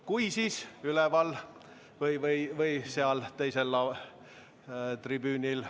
Kui, siis üleval või seal teisel tribüünil.